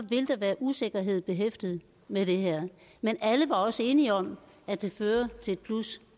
vil der være usikkerhed behæftet med det her men alle var også enige om at det fører til et plus